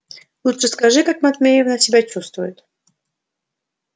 лучше скажи как матвеевна себя чувствует